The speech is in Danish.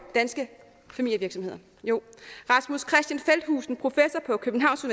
danske familievirksomheder jo rasmus kristian feldthusen professor på københavns